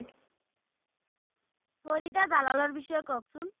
ফরিদা জালালার বিষয়ে কোক সুন্